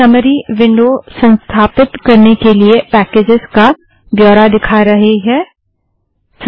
summary window संस्थापित करने के लिए पैकेजस का ब्योरा दिखा रहा है